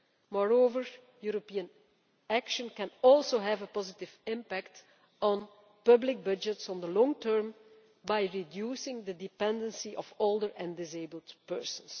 Moreover, European action can also have a positive impact on public budgets in the long term by reducing the dependency of older and disabled persons.